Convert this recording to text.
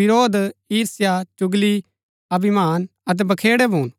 विरोध ईर्ष्या चुगली अभिमान अतै बखेड़ै भून